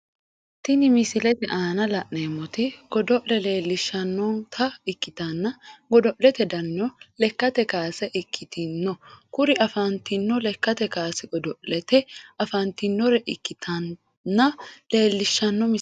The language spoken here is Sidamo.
Tinni misilete aanna la'neemoti godo'le leelishanota ikitanna godo'lete dannino lekate kaase ikitano kuriu afantino lakkate kaase godo'lete afantinore ikitinota leelishano misileeti.